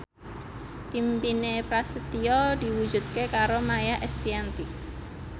impine Prasetyo diwujudke karo Maia Estianty